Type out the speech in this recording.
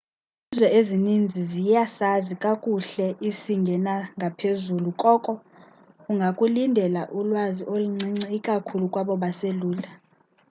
izizwe ezininzi ziyasazi kakuhle isingesinangaphezulu koko ungakulindela ulwazi oluncinci ikakhulu kwabo baselula